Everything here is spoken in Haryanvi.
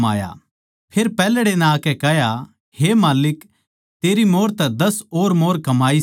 फेर पैहल्ड़े नै आकै कह्या हे माल्लिक तेरी मोंहर तै दस और मोंहर कमाई सै